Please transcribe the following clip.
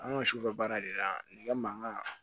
An ka sufɛ baara de la nɛgɛ mankan